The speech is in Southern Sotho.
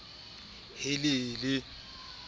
ke eo e feletse ka